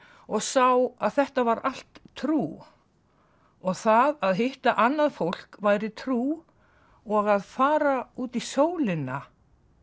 og sá að þetta var allt trú og það að hitta annað fólk væri trú og að fara útí sólina